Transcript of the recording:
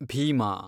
Bima